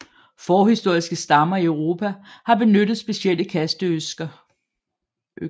Forhistoriske stammer i Europa har benyttet specielle kasteøkser